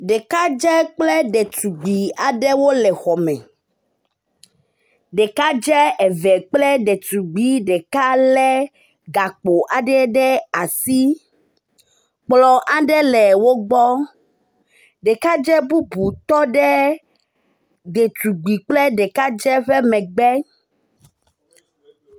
Ɖekadze aɖe kple ɖetugbui aɖe wole xɔme, ɖekadze eve kple ɖetugbi ɖeka lé gakpo aɖe ɖe asi. Kplɔ aɖe le wo gbɔ. Ɖekadze bubu tɔ ɖe ɖetugbui kple ɖekadze ƒe megbe.